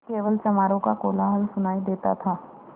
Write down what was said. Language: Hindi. केवल चमारों का कोलाहल सुनायी देता था